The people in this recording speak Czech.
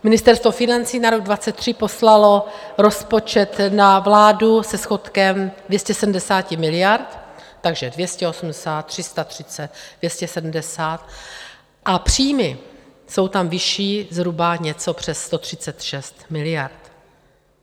Ministerstvo financí na rok 2023 poslalo rozpočet na vládu se schodkem 270 miliard, takže 280, 330, 270 a příjmy jsou tam vyšší zhruba něco přes 136 miliard.